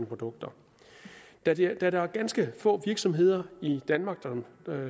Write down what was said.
produkter da det er det er ganske få virksomheder i danmark